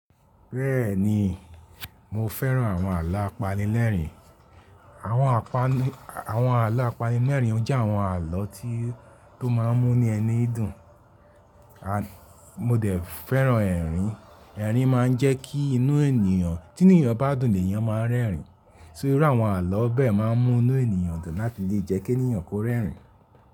Bẹ́ẹ̀ni mo fẹ́ràn àwọn àla apanilẹ́ẹ̀rín. Àwọn àpáani-- àwọn àla apanilẹ́ẹ̀rín o jẹ́ àwọn àlọ tí tó má ń mú ní ẹni dùn. And mo dẹ̀ fẹ́ràn ẹ̀rín. Ẹ̀rín má ń jẹ́ kí inú ènìyàn, tínu ènìyàn bá dùn l'éyan má ń rẹ́ẹ̀rín. Só iru àwọn àló bẹ́ẹ̀ má ń mú inú ènìyàn dùn láti lè jẹ́ kí ènìyàn kó rẹ́rìn.